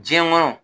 Diɲɛ kɔnɔ